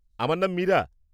আমার নাম মীরা।